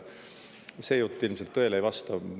See jutt ilmselt tõele ei vasta.